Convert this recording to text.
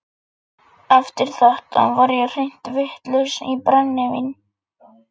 Eftir þetta var ég hreint vitlaus í brennivín.